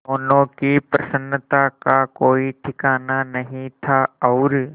दोनों की प्रसन्नता का कोई ठिकाना नहीं था और